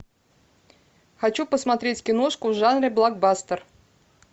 хочу посмотреть киношку в жанре блокбастер